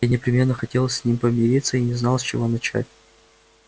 я непременно хотел с ним помириться и не знал с чего начать